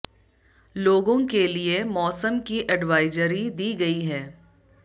लोगों के लिए मौसम की एडवाइजारी दी गई है